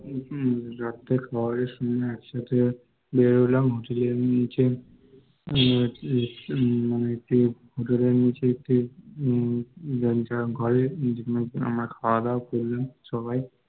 রাত্রের খাওয়ার সময় একসাথে বেরোলাম Hotel এর নিচে মানে hotel এর নীচে কেউ আমরা খাওয়া দাওয়া করলাম আমরা সবাই